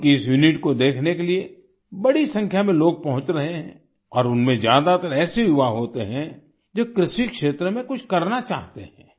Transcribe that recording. उनकी इस यूनिट को देखने के लिए बड़ी संख्या में लोग पहुंच रहे हैं और उनमें ज्यादातर ऐसे युवा होते हैं जो कृषि क्षेत्र में कुछ करना चाहते हैं